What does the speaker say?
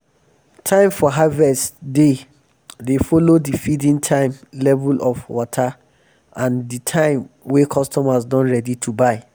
time for harvest dey dey follo di feeding um time level of um wata and di time wey customers don ready to buy.